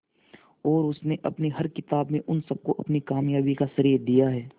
और उसने अपनी हर किताब में उन सबको अपनी कामयाबी का श्रेय दिया है